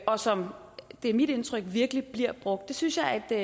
og som det er mit indtryk virkelig bliver brugt det synes jeg er